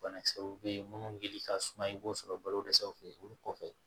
Banakisɛw bɛ yen minnu wuli ka suma i b'o sɔrɔ balo dɛsɛw fɛ olu kɔfɛ